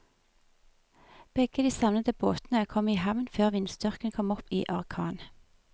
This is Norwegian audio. Begge de savnede båtene kom i havn før vindstyrken kom opp i orkan.